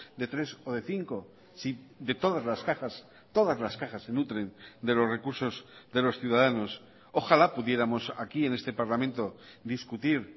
de tres o de cinco si de todas las cajas todas las cajas se nutren de los recursos de los ciudadanos ojalá pudiéramos aquí en este parlamento discutir